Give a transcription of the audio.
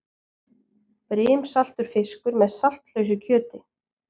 Brimsaltur fiskur með saltlausu kjöti.